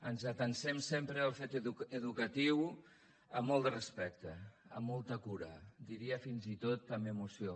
ens atansem sempre al fet educatiu amb molt de respecte amb molta cura diria fins i tot amb emoció